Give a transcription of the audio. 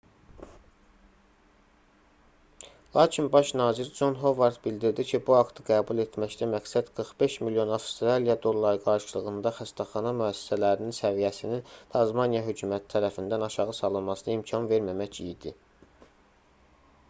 lakin baş nazir con hovard bildirdi ki bu aktı qəbul etməkdə məqsəd 45 milyon avstraliya dolları qarşılığında xəstəxana müəssisələrinin səviyyəsinin tasmaniya hökuməti tərəfindən aşağı salınmasına imkan verməmək idi